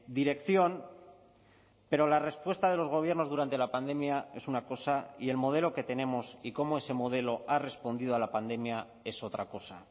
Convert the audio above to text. dirección pero la respuesta de los gobiernos durante la pandemia es una cosa y el modelo que tenemos y cómo ese modelo ha respondido a la pandemia es otra cosa